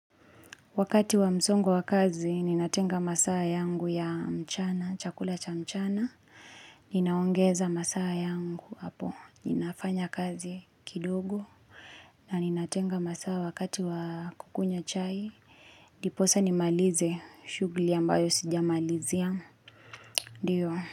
Wakati wa msongwa wa kazi, ninatenga masaa yangu ya mchana, chakula cha mchana. Ninaongeza masaa yangu hapo. Ninafanya kazi kidogo. Na ninatenga masaa wakati wa kukunya chai. Ndiposa nimalize shughuli ambayo sijamalizia. Ndio.